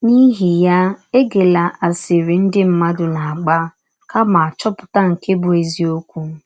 N’ihi ya, egela asịrị ndị mmadụ na - agba, kama chọpụta nke bụ́ eziọkwụ.